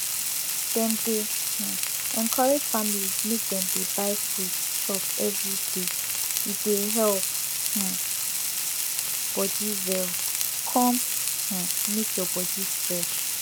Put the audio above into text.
dem dey um encourage families make dem dey buy fruits chop everyday e dey help um body well come um make your body fresh